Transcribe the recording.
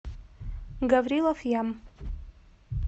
гаврилов ям